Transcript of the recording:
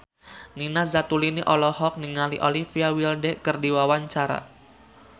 Nina Zatulini olohok ningali Olivia Wilde keur diwawancara